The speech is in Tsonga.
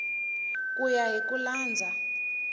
ku ya hi ku landza